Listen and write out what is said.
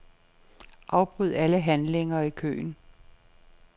Afbryd alle handlinger i køen.